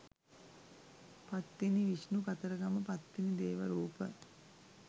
පත්තිනි විෂ්ණු කතරගම පත්තිනි දේව රූප.